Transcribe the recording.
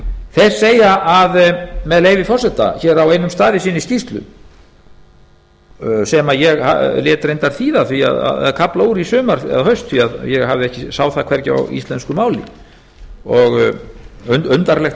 þeir segja með leyfi forseta hér á einum stað í sinni skýrslu sem ég lét reyndar þýða kafla úr í sumar eða haust því ég sá það hvergi í íslensku máli undarlegt